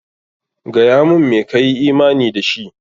Gaya mun me ka yi imani da shi!